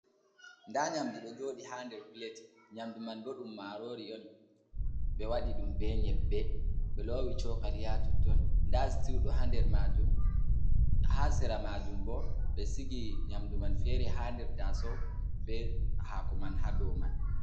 Nɗa nyamɗu ɗo jodi ha nder pilet nyamdu man ɓo ɗum marori on ɓe wadi ɗum be nyeɓɓe ɓe lowi sokali ha totton da sitiu ɗo ha nder ha sera majum ɓo ɓe sigi nyamdu man fere ha nder taso be hako man ha dow man.